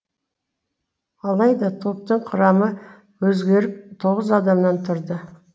алайда топтың құрамы өзгеріп тоғыз адамнан тұрды